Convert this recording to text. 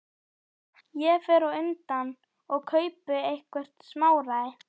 Ég fer á undan og kaupi eitthvert smáræði.